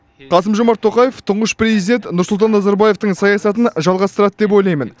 қасым жомарт тоқаев тұңғыш президент нұрсұлтан назарбаевтың саясатын жалғастырады деп ойлаймын